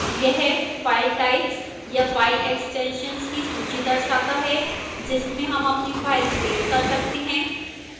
यह file types या file extensions की सूची दर्शाता है जिसमें हम अपनी file सेव कर सकते हैं